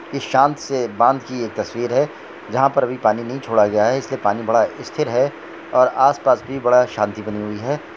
शाम से बांद की एक तस्वीर है जहा पर अभी पानी नहीं छोड़ा गया है इसलिए पानी बड़ा स्थिर है और आस पास भी बहुत ही शांति बनी हुई है।